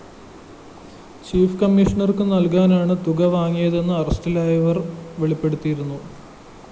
chief കമ്മിഷണര്‍ക്കു നല്‍കാനാണു തുക വാങ്ങിയതെന്ന് അറസ്റ്റിലായവര്‍ വെളിപ്പെടുത്തിയിരുന്നു